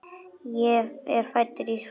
Ég er fæddur í Horst.